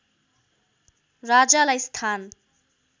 राजालाई स्थान